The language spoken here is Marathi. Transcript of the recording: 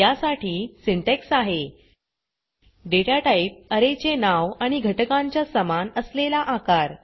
या साठी सिंटॅक्स आहे data टाइप अरे चे नाव आणि घटकांच्या समान असलेला आकार